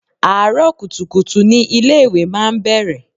Àárọ̀ kùtùkùtù ni ilé ìwé máa ń bẹ̀rẹ̀.